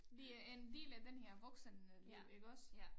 Det er en del af den her voksenliv iggås